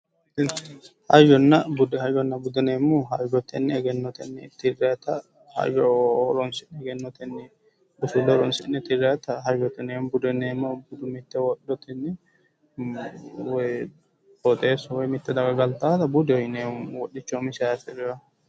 Hayyonna bude, hayyonna bude yinneemmohu hayyotenni egennotenni tirannitta hayyo horonsi'ne loonsannitta hayyote yinneemmo ,qoxxeesu mitu garinni galtanoha budeho yinneemmo wodhicho umisiha afi'noha